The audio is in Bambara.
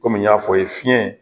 Kɔmi y'a fɔ a ye fiɲɛ